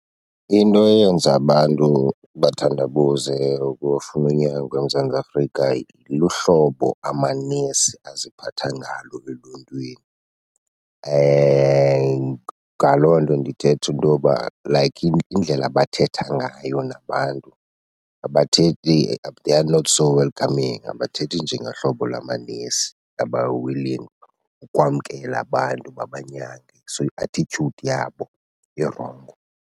Into eyenza abantu bathandabuze ukufuna unyango eMzantsi Afrika luhlobo amanesi aziphatha ngalo eluntwini. Ngaloo nto ndithetha intoba like indlela abathetha ngayo nabantu, abathethi , they are not so welcoming. Abathethi njengehlobo lamanesi aba-willing ukwamkela abantu babanyange. So i-attitude yabo irongo.